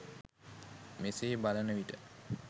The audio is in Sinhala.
මෙසේ බලන විට